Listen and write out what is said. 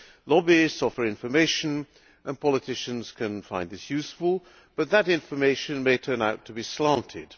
Lobbyists offer information and politicians can find this useful, but that information may turn out to be slanted.